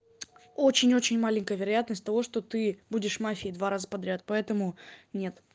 очень очень маленькая вероятность того что ты будешь мафией два раза подряд поэтому нет